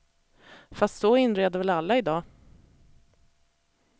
Fast så inreder väl alla idag.